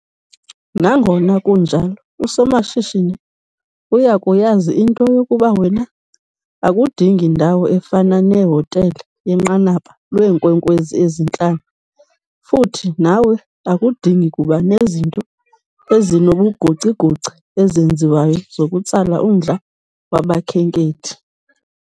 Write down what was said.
Nangona kunjalo, usomashishini uya kuyazi into yokuba wena akudingi ndawo efana nehotele yenqanaba lweenkwenkwezi ezintlanu futhi nawe akudingi kuba nezinto ezinobugocigoci ezenziwayo zokutsala umdla wabakhenkethi.